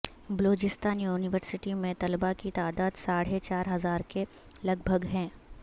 Balochistan university میں طلبا کی تعداد ساڑھے چار ہزار کے لگ بھگ ہے